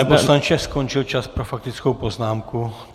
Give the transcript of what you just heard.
Pane poslanče, skončil čas pro faktickou poznámku.